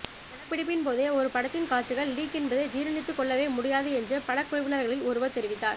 படப்பிடிப்பின்போதே ஒரு படத்தின் காட்சிகள் லீக் என்பதை ஜீரணித்து கொள்ளவே முடியாது என்று படக்குழுவினர்களில் ஒருவர் தெரிவித்தார்